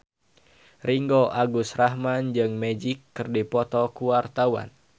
Ringgo Agus Rahman jeung Magic keur dipoto ku wartawan